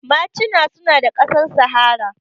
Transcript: Machina suna da ƙasar sahara